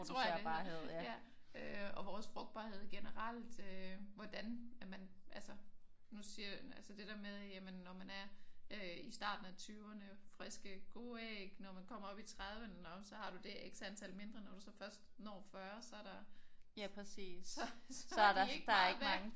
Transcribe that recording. Tror jeg det hedder ja. Øh og vores frugtbarhed generelt øh hvordan at man altså hun siger altså det der med at når man er i starten af 20'erne friske gode æg. Når man kommer op i 30'erne nå men så har man det antal mindre. Når du så først når 40 så er der så er de ikke meget værd